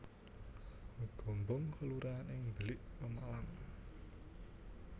Gombong kelurahan ing Belik Pemalang